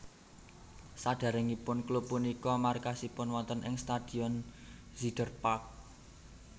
Sadèrèngipun klub punika markasipun wonten ing Stadion Zuiderpark